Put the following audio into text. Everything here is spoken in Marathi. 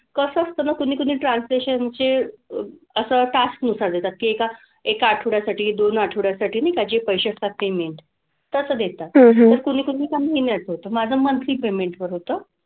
कसं असतं ना? कुणी कुणी translation चे असं task नुसार देतात की एका एका आठवड्यासाठी दोन आठवड्यासाठी नाही का जे पैसे ठरते मिळेल. तसं देतात तर कुणी कुणी एका महिन्याचं होतं. माझं monthly payment वर होतं.